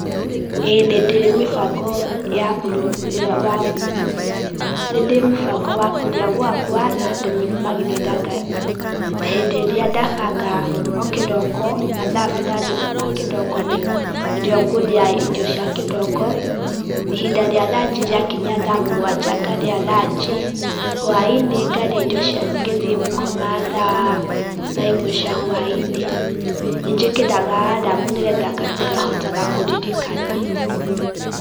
ĩĩ nĩndĩ mĩbango ya kũrĩa gwakwa, na ndĩmĩrũmagĩrĩra, hĩndĩ ĩrĩa ndabanga okĩroko, mathaa burani ma kĩroko nĩrĩo ngũrĩa irio cia kĩroko, ihinda rĩa ranji rĩa kinya thaa mũgwanja ngarĩa ranji, hwai-inĩ ngarĩa indo ngĩthiĩ gũkoma thaa ĩmwe cia hwai-inĩ. Nĩ njĩkĩraga aramu nĩgetha ngahotaga kũririkana.